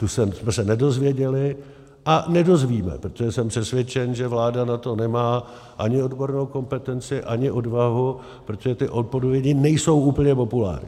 Tu jsme se nedozvěděli a nedozvíme, protože jsem přesvědčen, že vláda na to nemá ani odbornou kompetenci, ani odvahu, protože ty odpovědi nejsou úplně populární.